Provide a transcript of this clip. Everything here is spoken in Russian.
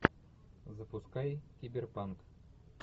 запускай киберпанк